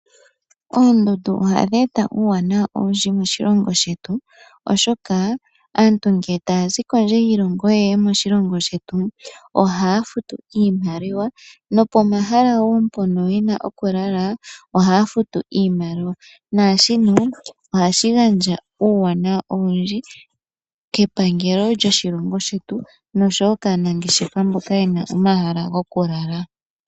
Oondundu ohadhi eta uuwanawa owundji moshilongo shetu, oshoka aantu ngele taya zi kondje yiilongo yeye moshilongo shetu ohaya futu iimaliwa, nopomahala woo mpono yena okulala ohaya futu iimaliwa, nashino ohashi gandja uuwanawa owundji kepangelo lyoshilongo shetu, nosho woo kaanangeshefa mboka yena omahala gokulala.